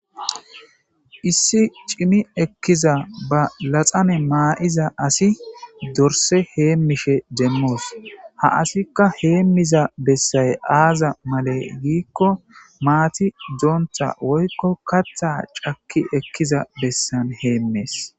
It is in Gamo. Issi cimi ekkiza ba laxame maayiza asi dorse heemishe deemmoos ha asikka heemmiza bessay aaza male giikko maati doontha woykko katha cakki ekkiza bessan heemees